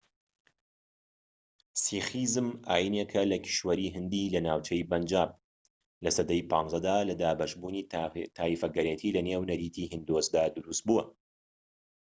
سیخیزم ئاینێکە لە کیشوەری هیندی لە ناوچەی پەنجاب لە سەدەی 15 دا لە دابەشبوونی تایەفەگەرێتی لە نێو نەریتی هیندۆسدا دروست بووە